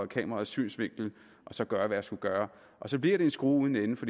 kameraets synsvinkel og så gøre hvad jeg skulle gøre og så bliver det en skrue uden ende for